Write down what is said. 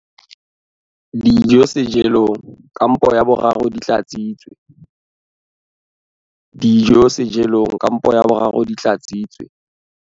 Dijo sejelong kampo ya boraro di tlatsitswe.